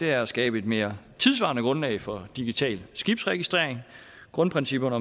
er at skabe et mere tidssvarende grundlag for digital skibsregistrering grundprincipperne